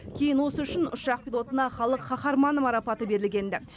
кейін осы үшін ұшақ пилотына халық қаһарманы марапаты берілген ді